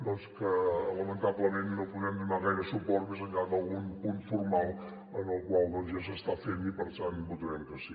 doncs a què lamentablement no podem donar gaire suport més enllà d’algun punt formal el qual ja s’està fent i per tant hi votarem que sí